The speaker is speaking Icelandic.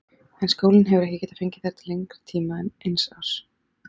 En skólinn hefur ekki getað fengið þær til lengri tíma en eins árs.